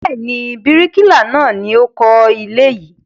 Bẹ́ẹ̀ ni, bíríkìlà náà ni ó kọ́ ilé yìí.